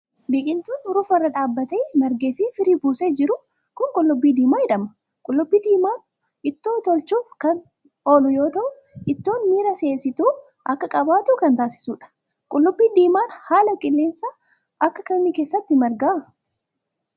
Biqiltuun urufa irra dhaabbatee ,margee fi firii buusee jiru kun, qullubbii diimaa jedhama. Qullubbii diimaan ittoo tolchuuf kan oolu yoo ta'u, ittoon miira si'eessituu akka qabaatu kan taasisuu dha. Qullubbii diimaan haala qilleensaa akka kamii keessatti marga?